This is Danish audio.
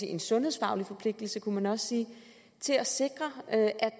en sundhedsfaglig forpligtelse kunne man også sige til at sikre at